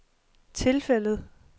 tilfældet